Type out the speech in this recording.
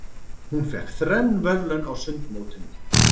Hún fékk þrenn verðlaun á sundmótinu.